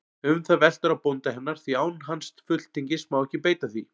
Um það veltur á bónda hennar, því án hans fulltingis má ekki beita því.